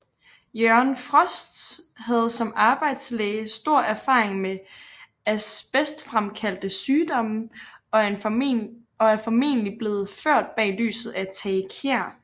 Jørgen Frost havde som arbejdslæge stor erfaring med asbestfremkaldte sygdomme og er formentlig blevet ført bag lyset af Tage Kjær